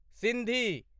Sindhi